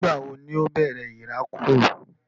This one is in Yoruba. Nígbà wo ni ó bẹ̀rẹ̀ ìrákòrò?